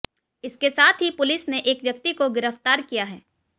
इसके साथ ही पुलिस ने एक व्यक्ति को गिरफ्तार किया है